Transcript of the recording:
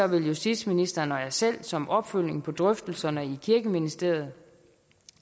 vil justitsministeren og jeg selv som opfølgning på drøftelserne i kirkeministeriet